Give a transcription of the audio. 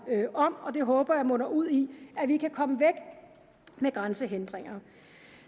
om og det håber jeg munder ud i at vi kan komme af med grænsehindringer